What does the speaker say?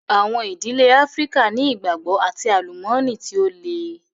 Àwọn ìdílé Áfríkà ni ìgbàgbọ́ and àlùmọ́nì tí ó le.